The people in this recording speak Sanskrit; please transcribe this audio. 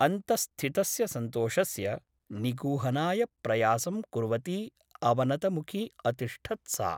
अन्तः स्थितस्य सन्तोषस्य निगूहनाय प्रयासं कुर्वती अवनतमुखी अतिष्ठत् सा ।